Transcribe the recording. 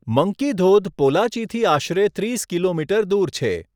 Monkey ધોધ પોલાચીથી આશરે ત્રીસ કિલોમીટર દૂર છે.